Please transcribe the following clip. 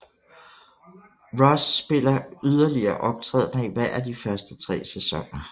Ross spiller yderligere optrædener i hver af de første tre sæsoner